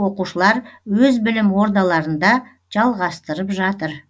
оқушылар өз білім ордаларында жалғастырып жатыр